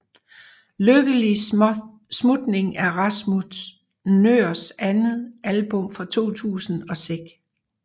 Lykkelig Smutning er Rasmus Nøhrs andet album fra 2006